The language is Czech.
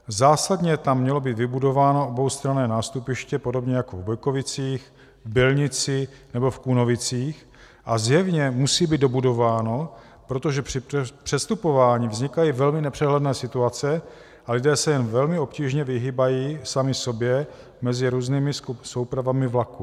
Zásadně tam mělo být vybudováno oboustranné nástupiště podobně jako v Bojkovicích, v Bylnici nebo v Kunovicích a zjevně musí být dobudováno, protože při přestupování vznikají velmi nepřehledné situace a lidé se jen velmi obtížně vyhýbají sami sobě mezi různými soupravami vlaků.